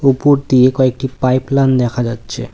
উপর দিয়ে কয়েকটি পাইপলান দেখা যাচ্ছে।